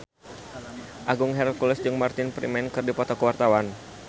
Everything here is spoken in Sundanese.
Agung Hercules jeung Martin Freeman keur dipoto ku wartawan